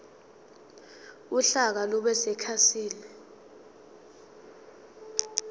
uhlaka lube sekhasini